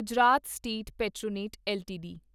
Gujarat state Petronet LTD